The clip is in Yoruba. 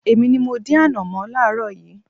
Èmi ní mọ dín ànọ̀mó láaaro yìí.